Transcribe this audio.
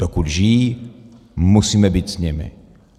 Dokud žijí, musíme být s nimi.